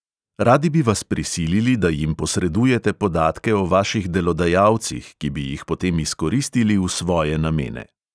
Radi bi vas prisilili, da jim posredujete podatke o vaših delodajalcih, ki bi jih potem izkoristili v svoje namene.